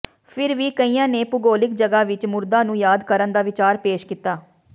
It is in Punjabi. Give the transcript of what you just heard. ਫਿਰ ਵੀ ਕਈਆਂ ਨੇ ਭੂਗੋਲਿਕ ਜਗ੍ਹਾ ਵਿਚ ਮੁਰਦਾ ਨੂੰ ਯਾਦ ਕਰਨ ਦਾ ਵਿਚਾਰ ਪੇਸ਼ ਕੀਤਾ